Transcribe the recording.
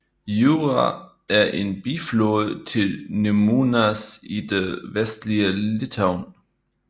Jūra er en biflod til Nemunas i det vestlige Litauen